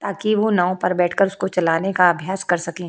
ताकि वो नाव पर बैठकर उसको चलाने का अभ्यास कर सकें।